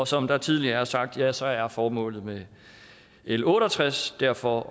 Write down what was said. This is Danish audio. som der tidligere er sagt ja så er formålet med l otte og tres derfor